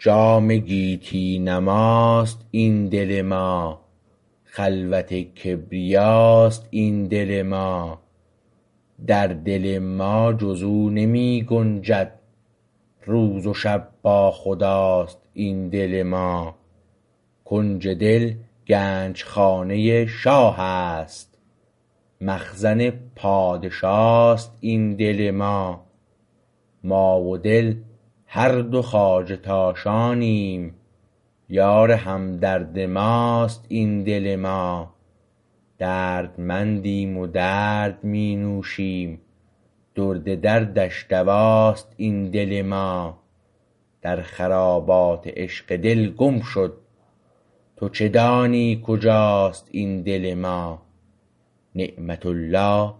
جام گیتی نماست این دل ما خلوت کبریاست این دل ما در دل ما جز او نمی گنجد روز و شب با خداست این دل ما کنج دل گنجخانه شاه است مخزن پادشاست این دل ما ما و دل هر دو خواجه تاشانیم یار همدرد ماست این دل ما دردمندیم و درد می نوشیم درد دردش دواست این دل ما در خرابات عشق دل گم شد تو چه دانی کجاست این دل ما نعمت الله